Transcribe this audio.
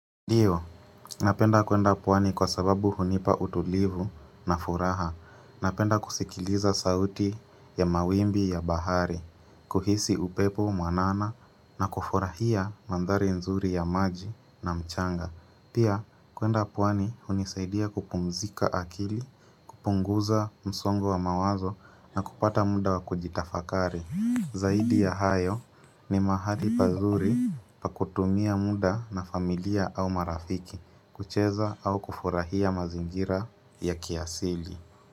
Ndiyo, napenda kwenda pwani kwa sababu hunipa utulivu na furaha. Napenda kusikiliza sauti ya mawimbi ya bahari, kuhisi upepo, mwanana na kufurahia mandhari nzuri ya maji na mchanga. Pia, kwenda pwani hunisaidia kupumzika akili, kupunguza msongo wa mawazo na kupata muda wa kujitafakari. Zaidi ya hayo ni mahali pazuri pa kutumia muda na familia au marafiki kucheza au kufurahia mazingira ya kiasili.